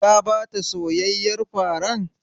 Ka ba ta soyayyen farar?